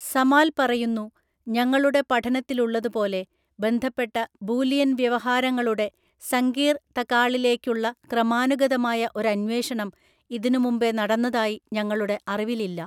സമാൽ പറയുന്നു, ഞങ്ങളുടെ പഠനത്തിലുള്ളതുപോലെ, ബന്ധപ്പെട്ട ബൂലിയൻവ്യവഹാരങ്ങളുടെ സങ്കീർ തകാളിലേക്കുള്ള ക്രമാനുഗതമായ ഒരന്വേഷണം ഇതിനുമുമ്പെ നടന്നതായി ഞങ്ങളുടെ അറിവിലില്ല.